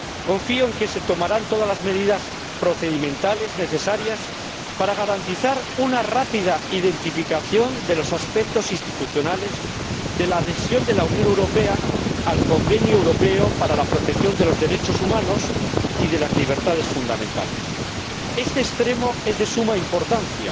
Confío en que se tomarán todas las medidas procedimentales necesarias para garantizar una rápida identificación de los aspectos institucionales de la adhesión de la Unión Europea al Convenio Europeo para la Protección de los Derechos Humanos y de las Libertades Fundamentales. Este extremo es de suma importancia,